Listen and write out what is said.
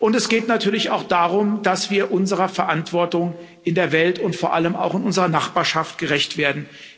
Es geht natürlich auch darum, dass wir unserer Verantwortung in der Welt und vor allem auch in unserer Nachbarschaft gerecht werden.